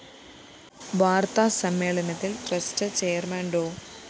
വാര്‍ത്താ സമ്മേളനത്തില്‍ trust chairman ഡോ